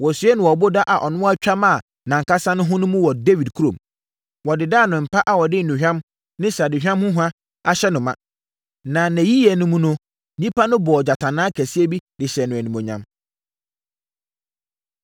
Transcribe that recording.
Wɔsiee no ɔboda a ɔno ara twa maa nʼankasa ho no mu wɔ Dawid kurom. Wɔdedaa no mpa a wɔde nnuhwam ne sradehwam ho hwa ahyɛ no ma, na nʼayiyɛ no mu no, nnipa no bɔɔ gyatanaa kɛseɛ bi de hyɛɛ no animuonyam.